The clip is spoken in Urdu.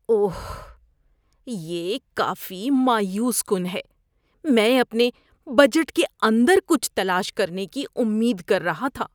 اوہ، یہ کافی مایوس کن ہے۔ میں اپنے بجٹ کے اندر کچھ تلاش کرنے کی امید کر رہا تھا۔